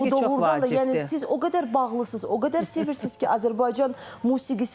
Bu da doğrudan da, yəni siz o qədər bağlısınız, o qədər sevirsiz ki, Azərbaycan musiqisinə.